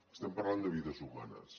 estem parlant de vides humanes